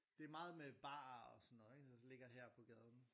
Det er meget med barer og sådan noget ikke så ligger det her på gaden